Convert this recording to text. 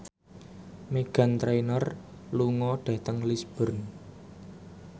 Meghan Trainor lunga dhateng Lisburn